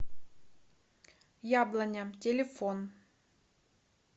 яблоня телефон